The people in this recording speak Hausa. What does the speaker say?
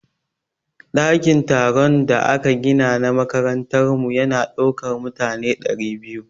Ɗakin taron da aka gina a makarantar mu ya na ɗaukan mutane ɗari biyu